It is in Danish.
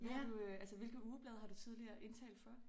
Har du øh altså hvilke ugeblade har du tidligere indtalt for